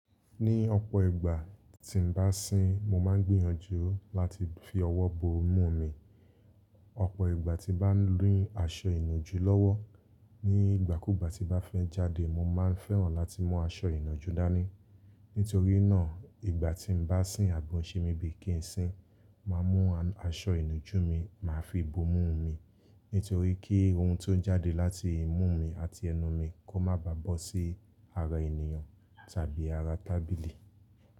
Ní ọ̀pọ̀ ìgbà tí n bá sín, mo máa ń gbìyànjú láti fi ọwọ́ bo imú mi. Ọ̀pọ̀ ìgbà tí n bá ni aṣọ ìnàjú lọ́wọ́ ní ìgbàkúgbà tí bá fẹ́ jáde, mo máa ń fẹ́ràn láti mú aṣọ ìnàjú dání. Nítorí náà, ìgbà tí n bá sín àbi ọ̀ ń ṣé mi bíi kí n sín, màá mú aṣọ ìnujú mi, màá fi bo imú mi. Nítorí kí ohun tó ń jáde láti imú mi àti ẹnu mi kó má bá bọ́ sí ara ènìyàn tàbí ara tábìlì.